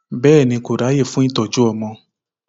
bẹẹ ni kò ráàyè fún ìtọjú ọmọ